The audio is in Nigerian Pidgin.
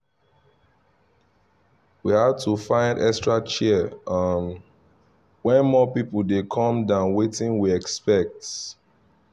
we had to find extra chair um when more people dey come than wetin we expect.